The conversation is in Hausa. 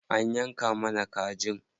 An yanka mana kajin.